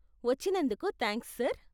వచ్చినందుకు thanks, sir.